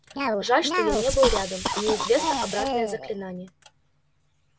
жаль что я не был рядом мне известно обратное заклинание